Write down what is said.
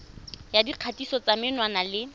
ya dikgatiso tsa menwana le